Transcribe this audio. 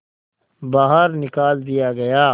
बाहर निकाल दिया गया